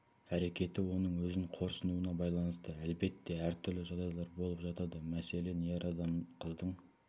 әрекеті оның өзін қорсынуына байланысты әлбетте әр түрлі жағдайлар болып жатады мәселен ер адам қыздың